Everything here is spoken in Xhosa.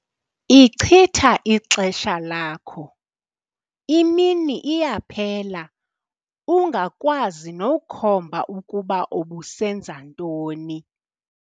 Ichitha ixesha lakho, imini iyaphela ungakwazi nokhomba ukuba ubusenza ntoni.